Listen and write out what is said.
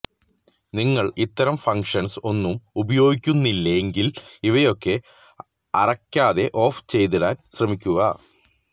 നിങ്ങൾ ഇത്തരം ഫങ്ക്ഷന്സ് ഒന്നും ഉപയോഗിക്കുന്നില്ലെങ്കിൽ ഇവയൊക്കെ അറക്കാതെ ഓഫ് ചെയ്തിടാൻ ശ്രമിക്കുക